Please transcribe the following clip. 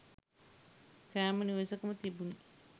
සෑම නිවෙසකම තිබුණි.